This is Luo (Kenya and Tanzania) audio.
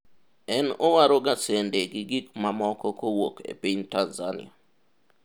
en owaroga sende gi gik mamoko kowuok e piny Tanzania